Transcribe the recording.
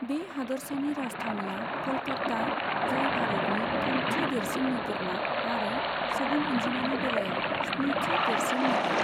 बे हादोरसानि राजथावनिया क'लकाता, जाय भारतनि थामथि देरिसन नोगोरमा आरो सुबुं अनजिमानि बेलायाव स्निथि देरसिन नोगोर।